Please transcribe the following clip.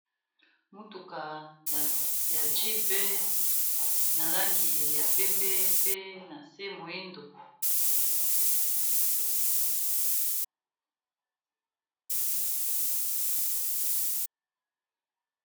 Motuka ya jeep na langi ya pembe pe na se moindo.